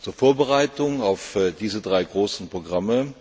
Zur Vorbereitung auf diese drei großen Programme